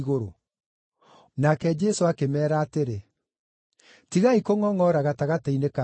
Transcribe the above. Nake Jesũ akĩmeera atĩrĩ, “Tigai kũngʼongʼora gatagatĩ-inĩ kanyu.